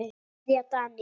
Kveðja, Daníel.